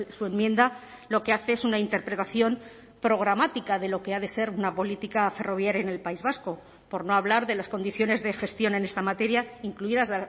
su enmienda lo que hace es una interpretación programática de lo que ha de ser una política ferroviaria en el país vasco por no hablar de las condiciones de gestión en esta materia incluidas